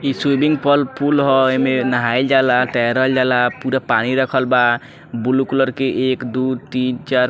इ स्विमिंग पल पूल ह एमे नहाइल जाला तेयरल जाला पुरा पानी रखल बा ब्लू कलर के एक दू तीन चार --